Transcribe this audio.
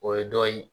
O ye dɔ ye